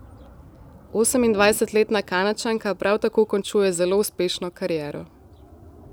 Osemindvajsetletna Kanadčanka prav tako končuje zelo uspešno kariero.